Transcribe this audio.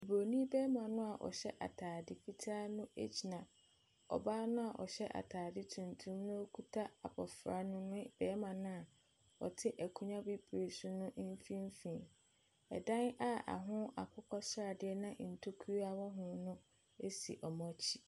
Buroni bɛɛma no a ɔhyɛ ataade fitaa no ɛgyina ɔbaa no a ɔhyɛ ataade tuntum no na ɔkuta abɔfra no ne barima no a ɔte akonnwa bibire so no mfimfini. Ɛdan a ɛho akokɔsradeɛ na ntokua ɛwɔ ho no ɛsi wɔn akyi.